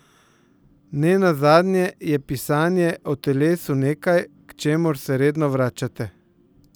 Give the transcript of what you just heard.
Ne nazadnje je pisanje o telesu nekaj, k čemur se redno vračate.